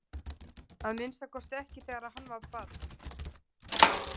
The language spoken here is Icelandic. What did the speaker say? Að minnsta kosti ekki þegar hann var barn.